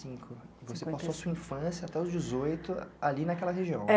Você passou sua infância até os dezoito ali naquela região?